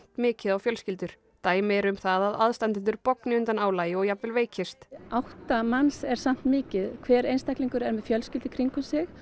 mikið á fjölskyldur dæmi eru um það að aðstandendur bogni undan álagi og jafnvel veikist átta manns er samt mikið hver einstaklingur er með fjölskyldu í kringum sig